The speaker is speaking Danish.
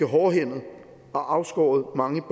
hårdhændet og afskåret mange